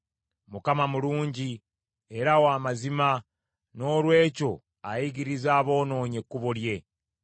Mukama mulungi, era wa mazima, noolwekyo ayigiriza aboonoonyi ekkubo lye.